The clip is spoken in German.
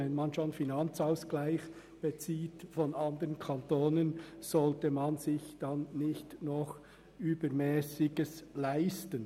Wenn man schon Mittel aus dem Nationalen Finanzausgleich (NFA) bezieht, sollte man sich nicht noch Übermässiges leisten.